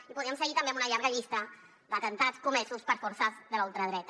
i podríem seguir també amb una llarga llista d’atemptats comesos per forces de la ultradreta